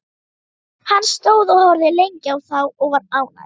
Hann stóð og horfði lengi á þá og var ánægður.